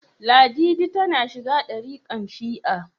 Ladidi za ta shiga darikan shi'a